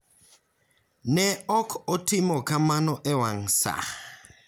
Ne ok otimo kamano e wang' sa.